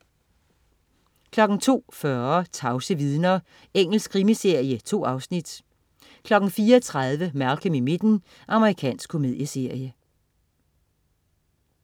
02.40 Tavse vidner. Engelsk krimiserie. 2 afsnit 04.30 Malcolm i midten. Amerikansk komedieserie